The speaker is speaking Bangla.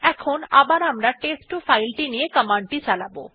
এখন আবার আমরা টেস্ট2 ফাইল ti নিয়ে কমান্ডটি চালাব